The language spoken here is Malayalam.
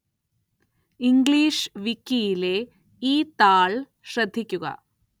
ഇംഗ്ലീഷ് വിക്കിയിലെ ഈ താള്‍ ശ്രദ്ധിക്കുക